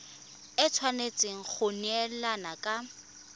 e tshwanetse go neelana ka